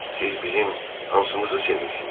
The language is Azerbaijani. Siz bizim hansımızı sevirsiz?